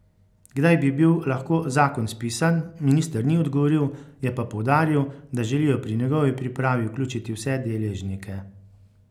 Kdaj bi bil lahko zakon spisan, minister ni odgovoril, je pa poudaril, da želijo pri njegovi pripravi vključiti vse deležnike.